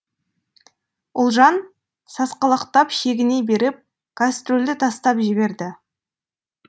ұлжан сасқалақтап шегіне беріп кострюльді тастап жіберді